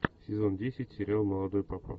сезон десять сериал молодой папа